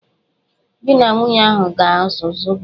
Di na nwunye ahụ ga-azụ zobo.